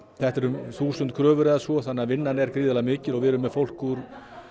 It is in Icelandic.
þetta eru þúsund kröfur eða svo þannig að vinnan er gríðarlega mikil og við erum með fólk úr